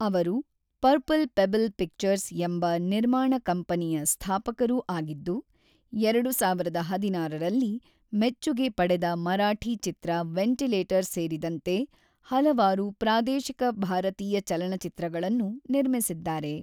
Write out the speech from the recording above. ಅವರು Purple Pebble Pictures ಎಂಬ ನಿರ್ಮಾಣ ಕಂಪನಿಯ ಸ್ಥಾಪಕರೂ ಆಗಿದ್ದು, ಎರಡು ಸಾವಿರದ ಹದಿನಾರರಲ್ಲಿ ಮೆಚ್ಚುಗೆ ಪಡೆದ ಮರಾಠಿ ಚಿತ್ರ ವೆಂಟಿಲೇಟರ್ ಸೇರಿದಂತೆ ಹಲವಾರು ಪ್ರಾದೇಶಿಕ ಭಾರತೀಯ ಚಲನಚಿತ್ರಗಳನ್ನು ನಿರ್ಮಿಸಿದ್ದಾರೆ.